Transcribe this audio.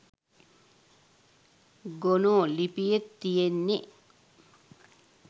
ගොනෝ ලිපියෙත් තියෙන්නෙ.